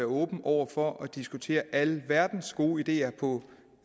åben over for at diskutere alverdens gode ideer på